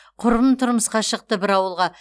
құрбым тұрмысқа шықты бір ауылға